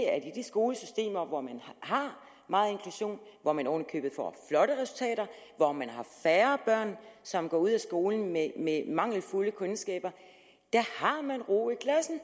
at i de skolesystemer hvor man har meget inklusion hvor man oven i købet får flotte resultater hvor man har færre børn som går ud af skolen med mangelfulde kundskaber har man ro i klassen